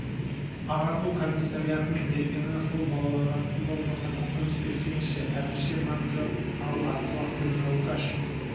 ағарту комиссариатының бергені сол балаларға тым болмаса көкөніс берсеңізші әзірше нан жоқ ал атқұлақ пен раугаш